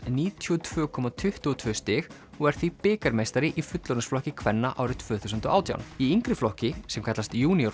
níutíu og tvö komma tuttugu og tvö stig og er því bikarmeistari í fullorðinsflokki kvenna árið tvö þúsund og átján í yngri flokki sem kallast